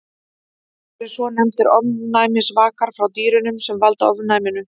Það eru svonefndir ofnæmisvakar frá dýrunum sem valda ofnæminu.